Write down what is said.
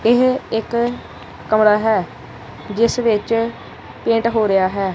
ਇਹ ਇੱਕ ਕਮਰਾ ਹੈ ਜਿਸ ਵਿੱਚ ਪੇਂਟ ਹੋ ਰਿਹਾ ਹੈ।